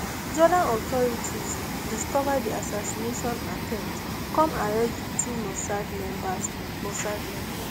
jordan authorities discova di assassination attempt come arrest di two mossad members mossad members